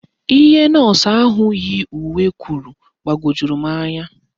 Ihe nọọsụ ahụ yi uwe kwuru gbawojuru m anya